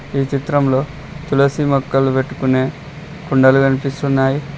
ఈ చిత్రంలో తులసి మొక్కలు పెట్టుకునే కుండలు కనిపిస్తున్నాయి.